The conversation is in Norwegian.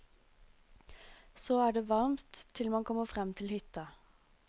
Så er det varmt til man kommer frem til hytta.